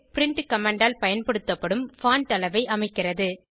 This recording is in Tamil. பிரின்ட் கமாண்ட் ஆல் பயன்படுத்தப்படும் பான்ட் அளவை அமைக்கிறது